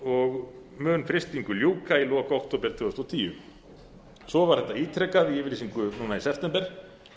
og mun frystingu ljúka í lok október tvö þúsund og tíu svo var þetta ítrekað í yfirlýsingu núna í september